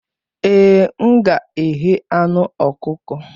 Ee, m ga-eghe anụ ọkụkọ.